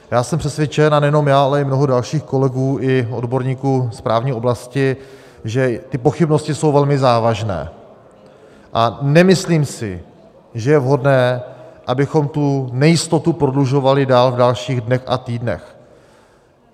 Já jsem přesvědčen, a nejenom já, ale i mnoho dalších kolegů i odborníků z právní oblasti, že ty pochybnosti jsou velmi závažné, a nemyslím si, že je vhodné, abychom tu nejistotu prodlužovali dál, v dalších dnech a týdnech.